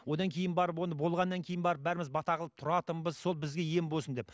одан кейін барып оны болғаннан кейін барып бәріміз бата қылып тұратынбыз сол бізге ем болсын деп